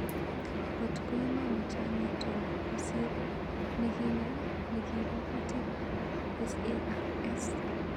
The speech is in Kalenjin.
Kot ko iman chang itung kosr nikinye nikipa kutik ap SARS.